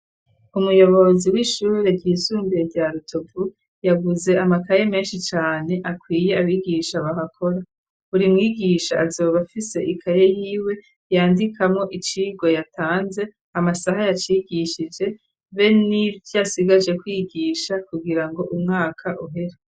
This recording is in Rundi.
Umuyobozi w'ishure ry'isumbire rya Rutovu yaguze amakaye menshi cane akwiye abigisha bahakora buri mwigisha azoba afise ikaye y'iwe yandikamo icigo yatanze amasaha yacigishije be n'ibyasigaje kwigisha kugira ngo umwaka uhera.